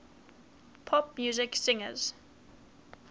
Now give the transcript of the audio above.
pop music singers